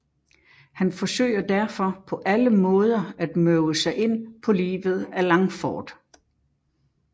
Han forsøger derfor på alle måder at møve sig ind på livet af Langford